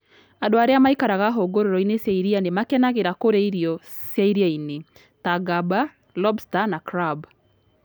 Andũ arĩa maikaraga hũgũrũrũ-inĩ cia iria nĩ makenagĩra kũrĩa irio cia iria-inĩ, ta ngamba, lobster, na crab.